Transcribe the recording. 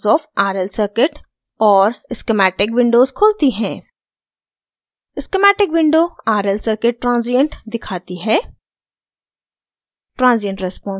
transient response of rl circuit और schematic windows खुलती हैं